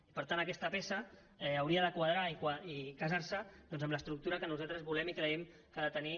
i per tant aquesta peça hauria de quadrar i casar se doncs amb l’estructura que nosaltres volem i creiem que ha de tenir